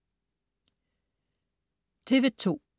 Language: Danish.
TV2: